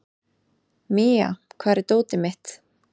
Mía, hvar er dótið mitt?